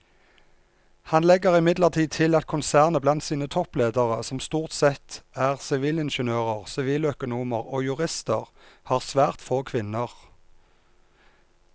Han legger imidlertid til at konsernet blant sine toppledere som stort sette er sivilingeniører, siviløkonomer og jurister har svært få kvinner.